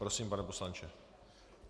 Prosím, pane poslanče.